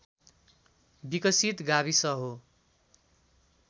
विकसित गाविस हो